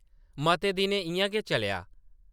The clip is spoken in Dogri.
मते दिन इʼयां गै चलेआ ।